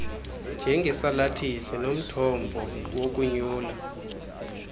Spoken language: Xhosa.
njengesalathisi nomthombo wokonyula